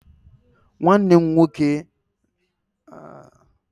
Nwanne m nwoke and ndị enyi ya na-aga ebe a na-ebinye aka